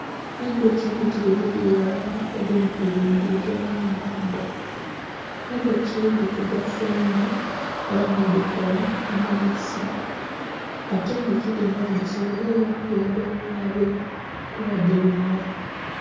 Endhoki embitirivu dhili ghalala edindhi dhili bbuulukila mwibbanga, endhoki dhitugasa inho era nhe dhikoola omubisi ate endhoki dhinho dhisobola era okuba edho bulabe kuba dhiruma.